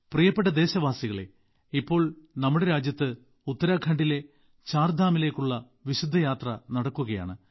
പ്രിയപ്പെട്ട ദേശവാസികളേ ഇപ്പോൾ നമ്മുടെ രാജ്യത്ത് ഉത്തരാഖണ്ഡിലെ ചാർധാം മിലേക്കുള്ള വിശുദ്ധ യാത്ര നടക്കുകയാണ്